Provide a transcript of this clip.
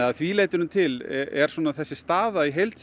að því leytinu til er svona þessi staða í heild